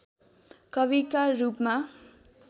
कविका रूपमा